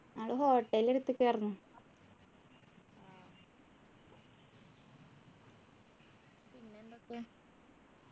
ഞങ്ങള് hotel എടുത്ത്ക്കാർന്നു